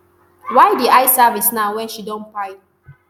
why di eye service now wen she don kpai